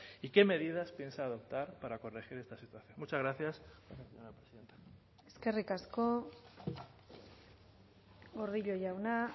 y qué medidas piensa adoptar para corregir esta situación muchas gracias eskerrik asko gordillo jauna